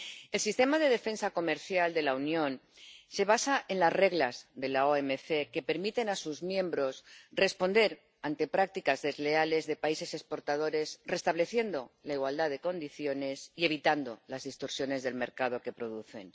El sistema de defensa comercial de la Unión se basa en las reglas de la OMC, que permiten a sus miembros responder ante prácticas desleales de países exportadores, restableciendo la igualdad de condiciones y evitando las distorsiones del mercado que producen.